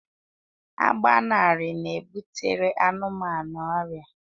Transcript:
Agbanarị na-ebutere anụmanụ ọrịa